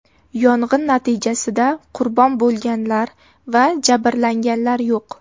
Yong‘in natijasida qurbon bo‘lganlar va jabrlanganlar yo‘q.